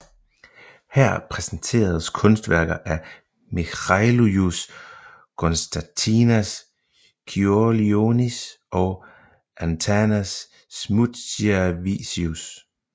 Her præsenteredes kunstværker af Mikalojus Konstantinas Čiurlionis og Antanas Žmuidzinavičius